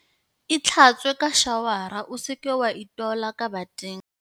Itlhatswe ka shawara o se ke wa itola ka bateng.